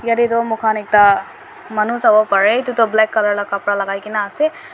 yadey duh mokhan ekta manu sawo parey ituduh black colour lah khapra lagai kena ase